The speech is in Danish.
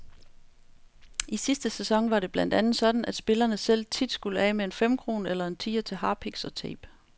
I sidste sæson var det blandt andet sådan, at spillerne selv tit skulle af med en femkrone eller en tier til harpiks og tape.